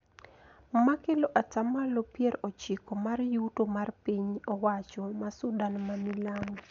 Ma kelo atamalo pier ochiko mar yuto mar piny owacho ma Sudan ma milambo